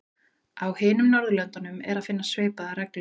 Á hinum Norðurlöndunum er að finna svipaðar reglur.